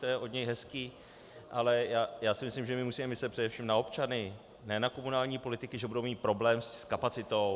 To je od něj hezké, ale já si myslím, že my musíme myslet především na občany, ne na komunální politiky, že budou mít problém s kapacitou.